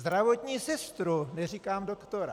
Zdravotní sestru, neříkám doktora!